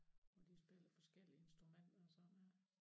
Og de spiller forskellige instrumenter og sådan noget